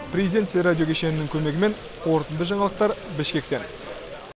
президент теле радио кешенінің көмегімен қорытынды жаңалықтар бішкектен